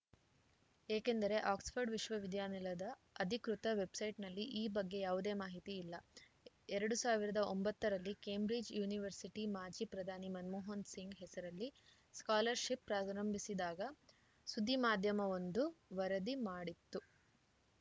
ಏಕೆಂದರೆ ಆಕ್ಸ್‌ಫರ್ಡ್‌ ವಿಶ್ವವಿದ್ಯಾನಿಲಯದ ಅಧಿಕೃತ ವೆಬ್‌ಸೈಟ್‌ನಲ್ಲಿ ಈ ಬಗ್ಗೆ ಯಾವುದೇ ಮಾಹಿತಿ ಇಲ್ಲ ಎರಡ್ ಸಾವಿರದ ಒಂಬತ್ತ ರಲ್ಲಿ ಕೇಂಬ್ರಿಡ್ಜ್‌ ಯೂನಿವರ್ಸಿಟಿ ಮಾಜಿ ಪ್ರಧಾನಿ ಮನಮೋಹನ ಸಿಂಗ್‌ ಹೆಸರಲ್ಲಿ ಸ್ಕಾಲರ್‌ಶಿಪ್‌ ಪ್ರಾರಂಭಿಸಿದ್ದಾಗ ಸುದ್ದಿ ಮಾಧ್ಯಮವೊಂದು ವರದಿ ಮಾಡಿತ್ತು